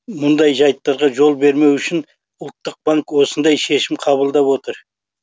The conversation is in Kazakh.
мұндай жайттарға жол бермеу үшін ұлттық банк осындай шешім қабылдап отыр